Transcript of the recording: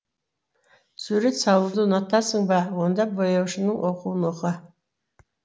сурет салуды ұнатасың ба онда бояушының оқуын оқы